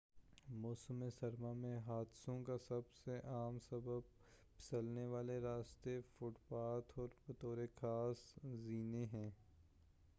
موسم سرما میں حادثوں کا سب سے عام سبب پھسلنے والے راستے فوت پاتھ اور بطور خاص زینے ہیں